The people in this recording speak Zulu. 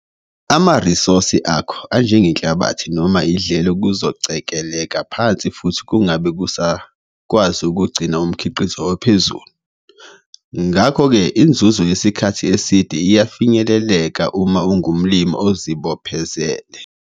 Amarisosi akho anjenge-nhlabathi noma idlelo kuzocekeleka phansi futhi kungabe kusakwazi ukugcina umkhiqizo ophezulu. Ngakho ke inzuzo yesikhathi eside iyafinyeleleka uma ungumlimi ozibophezele.